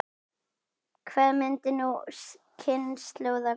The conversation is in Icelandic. Hvað myndi sú kynslóð kjósa?